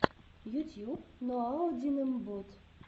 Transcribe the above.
ютьюб ноаодинэмбот